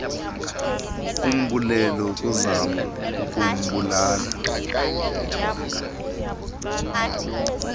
umbulo ukuzama ukubulala